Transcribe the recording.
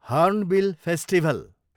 hornbill festival